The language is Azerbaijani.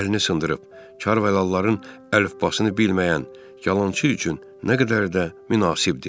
Əlini sındırıb, Kar-valalıların əlifbasını bilməyən yalançı üçün nə qədər də münasibdir.